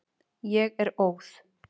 Ég er óð.